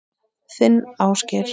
Þinn Ásgeir.